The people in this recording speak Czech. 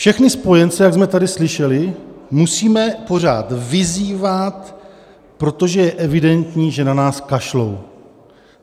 Všechny spojence, jak jsme tady slyšeli, musíme pořád vyzývat, protože je evidentní, že na nás kašlou.